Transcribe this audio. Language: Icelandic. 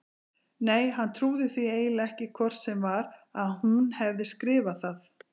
Nei, hann trúði því eiginlega ekki hvort sem var að hún hefði skrifað það.